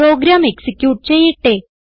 programme execute ചെയ്യട്ടെ